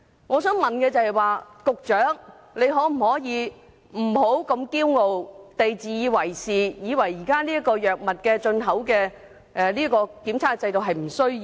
我想問，局長可否不要如此驕傲及自以為是，認為藥物進口檢測制度是沒有需要的？